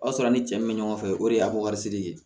O y'a sɔrɔ a ni cɛ min bɛ ɲɔgɔn fɛ o de y'a ko wari siri ye